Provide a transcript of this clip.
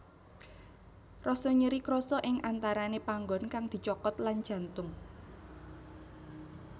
Rasa nyeri krasa ing antarane panggon kang dicokot lan jantung